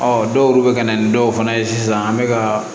Ɔ dɔw yɛrɛw bɛ ka na ni dɔw fana ye sisan an bɛ ka